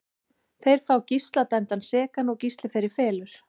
Þeir fá Gísla dæmdan sekan og Gísli fer í felur.